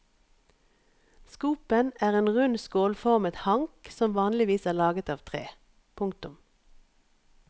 Skopen er en rund skålformet hank som vanligvis er laget av tre. punktum